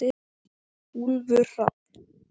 Úlfur Hrafn.